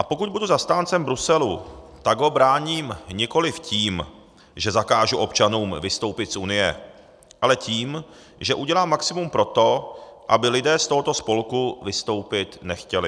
A pokud budu zastáncem Bruselu, tak ho bráním nikoliv tím, že zakážu občanům vystoupit z Unie, ale tím, že udělám maximum pro to, aby lidé z tohoto spolku vystoupit nechtěli.